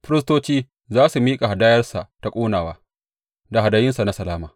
Firistoci za su miƙa hadayarsa ta ƙonawa da hadayunsa na salama.